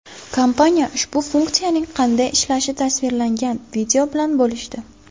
Kompaniya ushbu funksiyaning qanday ishlashi tasvirlangan video bilan bo‘lishdi.